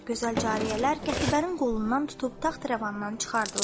Gözəl cariyələr qətibənin qolundan tutub taxtrəvandan çıxardılar.